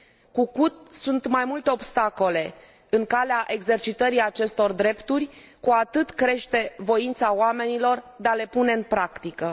Cu cât sunt mai multe obstacole în calea exercitării acestor drepturi, cu atât crește voința oamenilor de a le pune în practică.